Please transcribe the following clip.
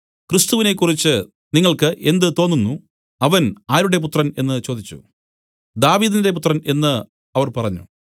ക്രിസ്തുവിനെക്കുറിച്ച് നിങ്ങൾക്ക് എന്ത് തോന്നുന്നു അവൻ ആരുടെ പുത്രൻ എന്നു ചോദിച്ചു ദാവീദിന്റെ പുത്രൻ എന്നു അവർ പറഞ്ഞു